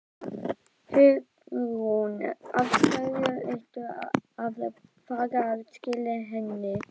Hugrún: Af hverju ertu að fara að skila henni?